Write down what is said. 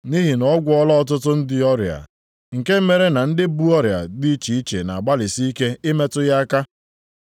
Nʼihi na ọ gwọọla ọtụtụ ndị ọrịa, nke mere na ndị bu ọrịa dị iche iche na-agbalịsị ike ịmetụ ya aka.